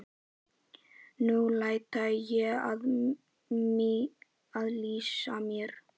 Nú ætla ég að lýsa mér.